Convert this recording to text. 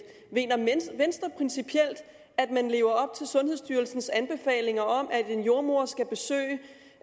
mener venstre principielt at man lever op til sundhedsstyrelsens anbefalinger om at en jordemoder skal besøge